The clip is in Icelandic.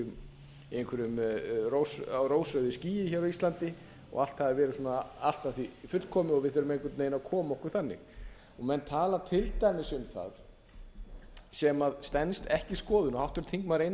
hafi verið þá á einhverju rósrauðu skýi hér á íslandi og allt hafi verið svona allt að því fullkomið og við þurfum einhvern veginn að koma okkur þannig menn tala til dæmis um það sem stenst ekki skoðun og háttvirtur þingmaður einar